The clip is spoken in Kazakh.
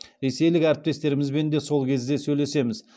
ресейлік әріптестерімізбен де сол кезде сөйлесеміз